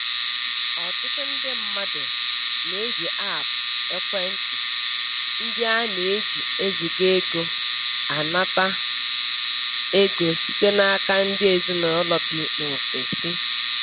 Ọtụtụ ndị mmadụ na-eji aapụ ekwentị ndị a na-eji eziga ego anata ego site n'aka ndị ezinaụlọ bi n'ofesi.